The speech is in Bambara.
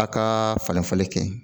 A ka falen falen kɛ